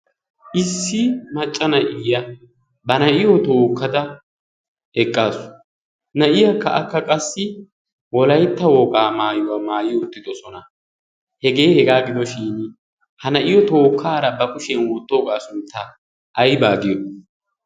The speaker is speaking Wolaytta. Issi macca na"iya ba na"iyo tookkada eqqaasu. Na"iyakka akka qassi eolaytta wogaa maayuwa maayi uttidosona. Hegee hegaa gidoshin ha na"iyo tookkaara ba kushiyan wottooga sunttaa ayba giyo.